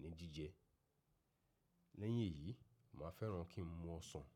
ní jíjẹ. Lẹ́yìn èyí, màá fẹ́ràn kí ń mu ọsàn.